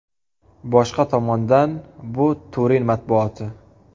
Boshqa tomondan bu Turin matbuoti.